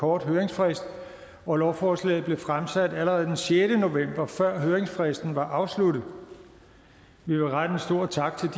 kort høringsfrist og lovforslaget blev fremsat allerede den sjette november før høringsfristen var afsluttet vi vil rette en stor tak til